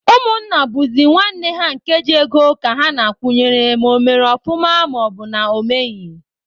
Ụmụnna bụzị nwanne ha nke ji ego ka ha na-akwụnyere ma ọ mere ọfụma maọbụna ọ meghị.